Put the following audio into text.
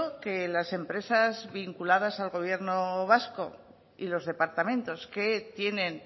que las empresas vinculadas al gobierno vasco y los departamentos que tienen